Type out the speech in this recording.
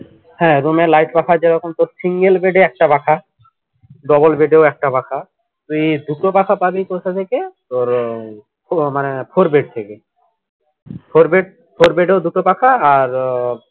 হ্যা room এ light পাখা যেরকম তোর single bed এ একটা পাখা double bed এ ও একটা পাখা তুই দুটো পাখা পাবি কোথা থেকে তোর উম মানে four bed থেকে four bed four bed এ ও দুটো পাখা আর আহ